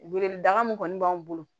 Weleda min kɔni b'anw bolo